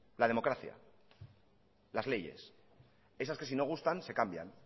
la democracia las leyes esas que si no gustan se cambian